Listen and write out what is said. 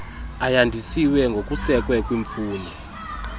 ayandisiwe ngokusekwe kwimfuno